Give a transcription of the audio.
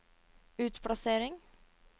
utplassering